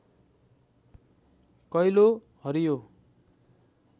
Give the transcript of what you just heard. कैलो हरियो